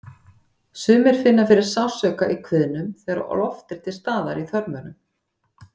Sumir finna fyrir sársauka í kviðnum þegar loft er til staðar í þörmunum.